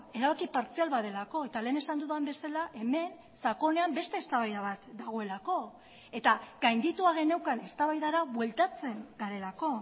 erabaki partzial bat delako eta lehen esan dudan bezala hemen sakonean beste eztabaida bat dagoelako eta gainditua geneukan eztabaidara bueltatzen garelako